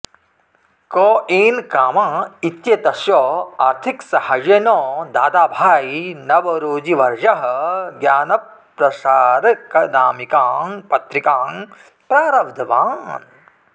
के N Cama इत्येतस्य आर्थिकसहाय्येन दादाभाई नवरोजिवर्यः ज्ञानप्रसारकनामिकां पत्रिकां प्रारब्धवान्